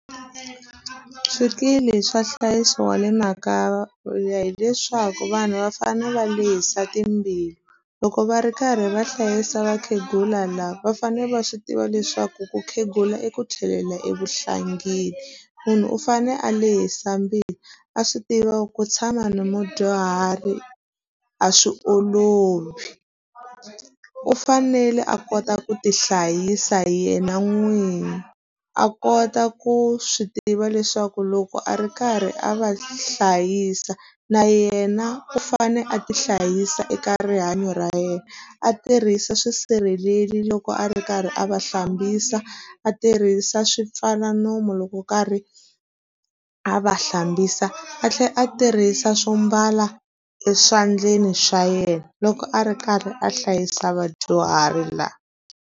Swikili swa nhlayiso wa le makaya hileswaku vanhu va fanele va lehisa timbilu. Loko va ri karhi va hlayisa vakhegula lava, va fanele va swi tiva leswaku ku khegula i ku tlhelela evuhlangi. Munhu u fanele a lehisa mbilu, a swi tiva ku tshama na mudyuhari a swi olovi. U fanele a kota ku tihlayisa hi yena n'wini, a kota ku swi tiva leswaku loko a ri karhi a va hlayisa na yena u fanele a ti hlayisa eka rihanyo ra yena. A tirhisa swisirheleli loko a ri karhi a va hlambisa, a tirhisa swi pfala nomu loko wo karhi a va hlambisa, a tlhela a tirhisa swo mbala eswandleni swa yena loko a ri karhi a hlayisa vadyuhari laha.